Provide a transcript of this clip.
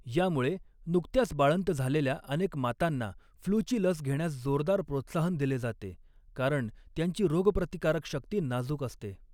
यामुळे, नुकत्याच बाळंत झालेल्या अनेक मातांना फ्लूची लस घेण्यास जोरदार प्रोत्साहन दिले जाते, कारण त्यांची रोगप्रतिकारक शक्ती नाजूक असते.